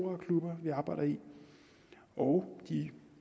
og klubber vi arbejder i og de